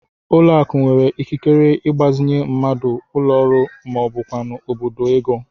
Ụlọakụ nwere ikikere ịgbazinye mmadụ, ụlọọrụ maọbụkwanụ obodo ego